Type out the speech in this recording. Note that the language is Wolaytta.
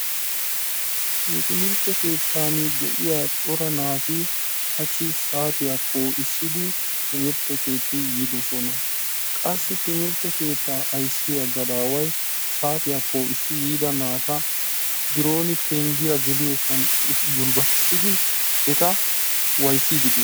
nu timirtte keettan de'iya cora naati hachi saattiya poo'issidi nu timirtte keetti yiidosona. qassi timmirtte keettaa ayssiya gadaaway saatiya poo'issi yiida naata bironi penggiya geliyosan gulbatissidi eta waayisiidi de'ees.